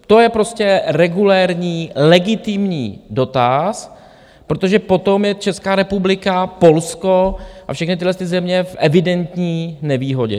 To je prostě regulérní legitimní dotaz, protože potom je Česká republika, Polsko a všechny tyhle země v evidentní nevýhodě.